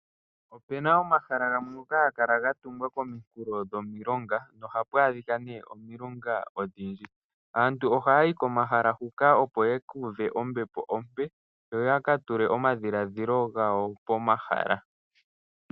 Opena omahala gamwe ngoka haga kala ga tungwa kominkulo dhomilonga, nohapu adhika nee omilunga odhindji. Aantu ohaya yi komahala huka opo ya ka uve ombepo ompe, yo ya ka tule omadhiladhilo gawo pomahala.